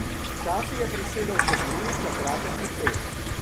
Včasih je prisedel še Gruj za kratek klepet.